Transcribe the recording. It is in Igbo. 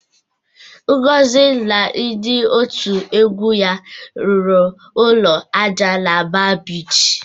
Ngozi na ndị otu egwu ya rụrụ ụlọ ájá na Ba Bichi.